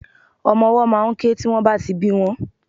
Omo owó máà ń ké tí wón bá ti bí won